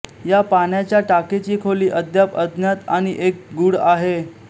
या पाण्याच्या टाकीची खोली अद्याप अज्ञात आणि एक गूढ आहे